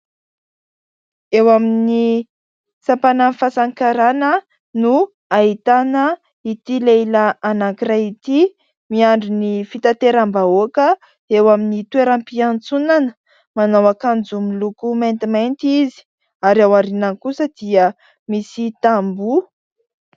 Eo amin'ny sampanan'ny fasan'ny karana no ahitana ity lehilahy anankiray ity. Miandry ny fitateram-bahoaka eo amin'ny toeram-piantsonana ; manao akanjo miloko maintimainty izy, ary ao aorinany kosa dia misy tamboho.